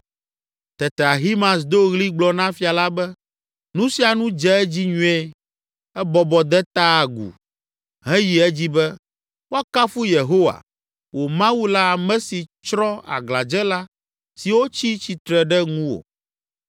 Tete Ahimaaz do ɣli gblɔ na Fia la be, “Nu sia nu dze edzi nyuie!” Ebɔbɔ, de ta agu heyi edzi be, “Woakafu Yehowa, wò Mawu la ame si tsrɔ̃ aglãdzela siwo tsi tsitre ɖe ŋuwò.”